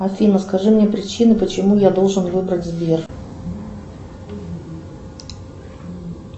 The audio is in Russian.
афина скажи мне причины почему я должен выбрать сбер